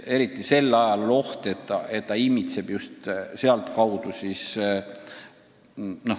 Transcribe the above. Siis on oht, et seda immitseb õhku just sealtkaudu.